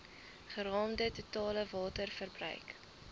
geraamde totale waterverbruik